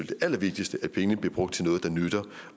det allervigtigste at pengene bliver brugt til noget der nytter